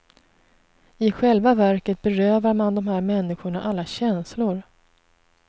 I själva verket berövar man de här människorna alla känslor.